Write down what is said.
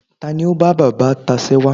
ta ni o ba baba tacewa